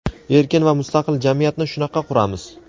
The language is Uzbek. Erkin va mustaqil jamiyatni shunaqa quramiz.